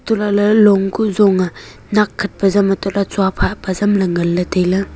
untohlahley long kuh zong a nakkhat pazam untohley tsuaphah pazam nganley tailey.